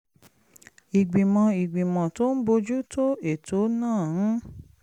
ìgbìmọ̀ ìgbìmọ̀ tó ń bójú tó ètò náà ń